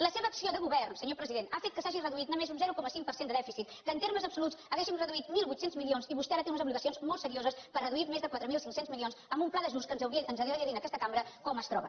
la seva acció de govern senyor president ha fet que s’hagi reduït només un zero coma cinc per cent de dèficit en termes absoluts hauríem reduït mil vuit cents milions i vostè ara té unes obligacions molt serioses per reduir més de quatre mil cinc cents milions amb un pla d’ajust que ens hauria de dir en aquesta cambra com es troba